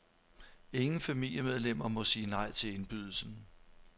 Ingen familiemedlemmer må sige nej til indbydelsen.